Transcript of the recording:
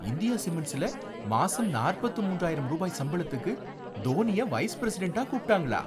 India சிமெண்ட்ஸ்ல மாசம் நாற்பத்து மூன்றாயிரம் ரூபாய் சம்பளத்துக்கு தோனிய வைஸ் பிரெஸிடெண்ட்டா கூப்பிடாங்களா